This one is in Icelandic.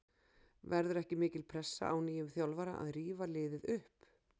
Verður ekki mikil pressa á nýjum þjálfara að rífa liðið upp?